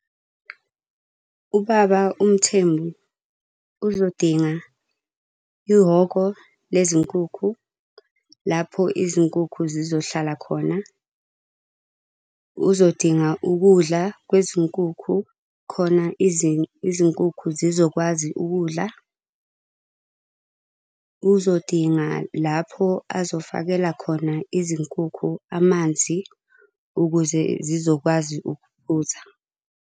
Ubaba uMthembu uzodinga ihhoko lezinkukhu, lapho izinkukhu zizohlala khona. Uzodinga ukudla kwezinkukhu khona izinkukhu zizokwazi ukudla. Uzodinga lapho azofakela khona izinkukhu amanzi, ukuze zizokwazi ukuphuza.